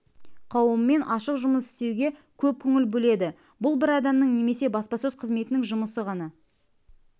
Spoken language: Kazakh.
қауымымен ашық жұмыс істеуге көп көңіл бөледі бұл бір адамның немесе баспасөз қызметінің жұмысы ғана